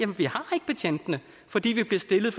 fordi de bliver stillet